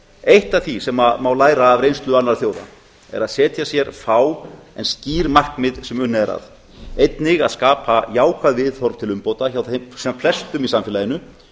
eitt af því sem má læra af reynslu annarra þjóða er að setja sér fá en skýr markmið sem unnið er að einnig að skapa jákvæð viðhorf til umbóta hjá sem flestum í samfélaginu